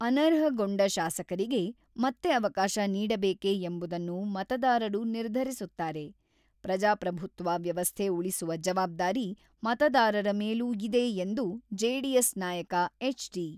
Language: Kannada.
ಅನರ್ಹಗೊಂಡ ಶಾಸಕರಿಗೆ ಮತ್ತೆ ಅವಕಾಶ ನೀಡಬೇಕೇ ಎಂಬುದನ್ನು ಮತದಾರರು ನಿರ್ಧರಿಸುತ್ತಾರೆ, ಪ್ರಜಾಪ್ರಭುತ್ವ ವ್ಯವಸ್ಥೆ ಉಳಿಸುವ ಜವಾಬ್ದಾರಿ ಮತದಾರರ ಮೇಲೂ ಇದೆ ಎಂದು ಜೆಡಿಎಸ್ ನಾಯಕ ಎಚ್.ಡಿ.